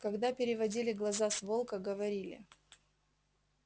когда переводили глаза с волка говорили